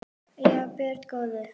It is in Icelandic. Já, börnin góð.